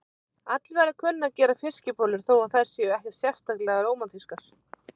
Allir verða að kunna að gera fiskibollur þó að þær séu ekkert sérstaklega rómantískar.